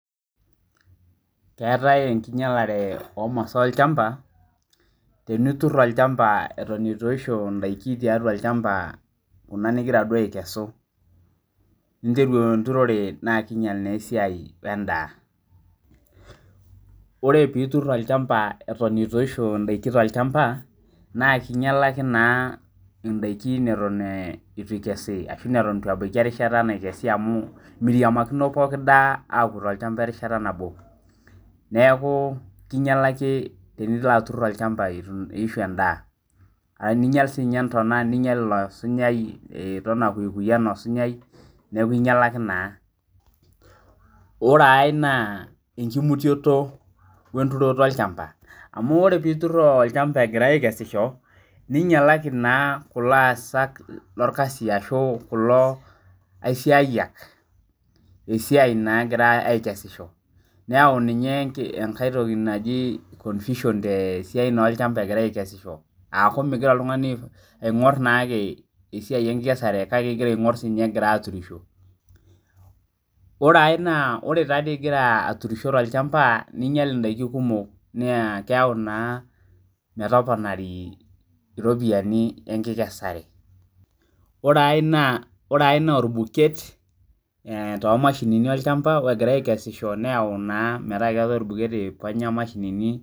Keetae enkinyialare oo masaa olchamba tenitur olchamba etoneitu eyishu edaiki tiatua olchamba Kuna nigira duo aikesu ninteru enturore naa kinyial naa esiai endaa oree pee etur olchamba Eton eitu eyishu edaiki naa kinyialaki naa edaiki neton eitu ebaiki erishata naikesi amu miriamakino pooki daa akuu too olchamba erishata nadoo neeku kinyialaki tenilo atur eitu eyishu endaa ninyial sininye ntona ninyial osunyai ore enkae naa enkimutioto enturoto olchamba amu ore pee etur olchamba nyialaki kulo aisiayiak esiai egira asisho niyau ninye enkae toki naaji confusion egirai aikesisho aku nigira oltung'ani aing'or naa ake esiai enkikesare kake egira sininye aing'or egirai aturisho ore enkae naa ore egira aturisho ninyia edaiki kumok naa keyawu metomonari eropiani enkikesare ore enkae naa orbuket too mashini olchamba neyau naa meta keetae orbuket eiponya mashinini